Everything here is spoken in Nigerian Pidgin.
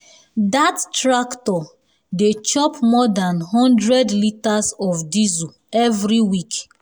dat tractor dey chop more than one hundred litres of diesel every week.